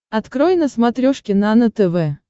открой на смотрешке нано тв